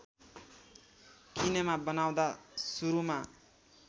किनेमा बनाउँदा सुरुमा